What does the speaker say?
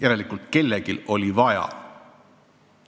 Aga kellelgi oli vaja just sellist otsust.